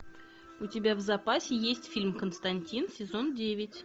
у тебя в запасе есть фильм константин сезон девять